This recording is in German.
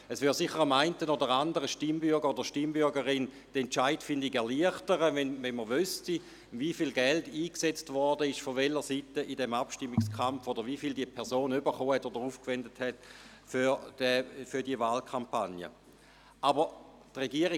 Es würde dem einen oder anderen Stimmbürger oder der einen oder anderen Stimmbürgerin die Entscheidungsfindung erleichtern, wenn man wüsste, wie viel Geld von welcher Seite im Abstimmungskampf eingesetzt wurde, oder wie viel eine Person für die Wahlkampagne aufgewendet hat.